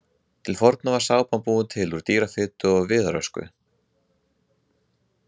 Til forna var sápan búin til úr dýrafitu og viðarösku.